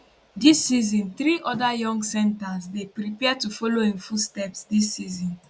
dis season three oda young centres dey prepare to follow im footsteps dis season